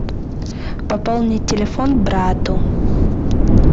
пополнить телефон брату